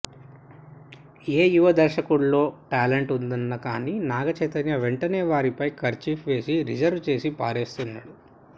ఏ యువ దర్శకుడిలో టాలెంట్ ఉందన్నా కానీ నాగచైతన్య వెంటనే వారిపై కర్చీఫ్ వేసి రిజర్వ్ చేసి పారేస్తున్నాడు